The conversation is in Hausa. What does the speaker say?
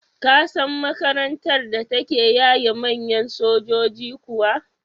Ka san makarantar da take yaye manyan sojoji kuwa?